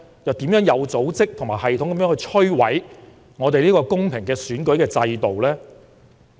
又有甚麼有組織、有系統地摧毀香港公平選舉制度的情況？